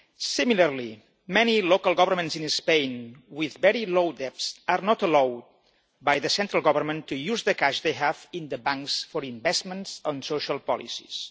Similarly, many local governments in Spain with very low debt are not allowed by the central government to use the cash they have in the banks for investments on social policies.